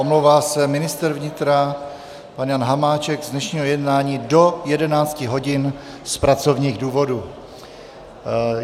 Omlouvá se ministr vnitra pan Jan Hamáček z dnešního jednání do 11 hodin z pracovních důvodů.